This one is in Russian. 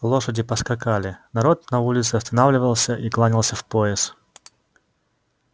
лошади поскакали народ на улице останавливался и кланялся в пояс